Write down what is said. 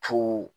Tu